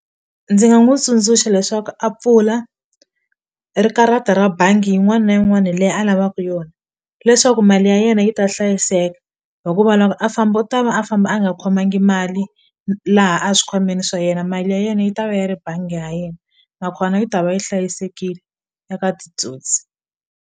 Ndzi nga n'wi tsundzuxa leswaku a pfula ri karata ra bangi yin'wana na yin'wana leyi a lavaku yona leswaku mali ya yena yi ta hlayiseka hikuva loko a famba u ta va a famba a nga khomangi mali laha a swikhwameni swa yena mali ya yena yi ta va yi ri bangi ya yena nakona yi ta va yi hlayisekile eka titsotsi.